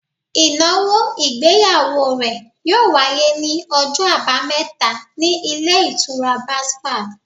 Ìnáwó ìgbéyàwó rẹ̀ yíò wáyé ní ọjọ́ àbámẹ́ta ní Ilé Ìtura Basfad